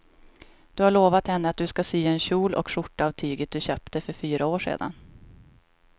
Du har lovat henne att du ska sy en kjol och skjorta av tyget du köpte för fyra år sedan.